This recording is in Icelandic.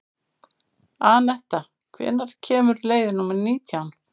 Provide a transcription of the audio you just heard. Anetta, hvenær kemur leið númer nítján?